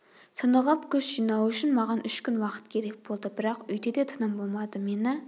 тынығып күш жинау үшін маған үш күн уақыт керек болды бірақ үйде де тыным болмады мені